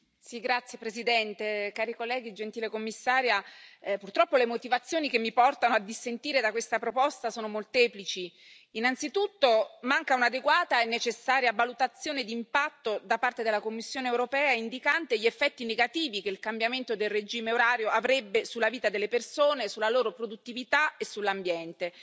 Signor Presidente, onorevoli colleghi, signora Commissaria, purtroppo le motivazioni che mi portano a dissentire da questa proposta sono molteplici. Innanzitutto, manca un'adeguata e necessaria valutazione d'impatto da parte della Commissione europea, indicante gli effetti negativi che il cambiamento del regime orario avrebbe sulla vita delle persone, sulla loro produttività e sull'ambiente.